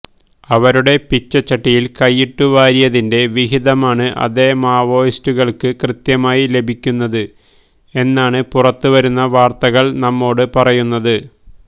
അവരുടെ പിച്ചച്ചട്ടിയില് കൈയിട്ടു വാരിയതിന്റെ വിഹിതമാണ് അതേ മാവോയിസ്റ്റുകള്ക്ക് കൃത്യമായി ലഭിക്കുന്നത് എന്നാണ് പുറത്ത് വരുന്ന വാര്ത്തകള് നമ്മോട് പറയുന്നത്